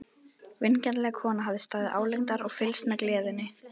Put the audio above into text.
Vingjarnleg kona hafði staðið álengdar og fylgst með gleðinni.